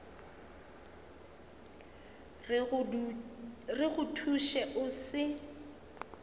re go thuše o se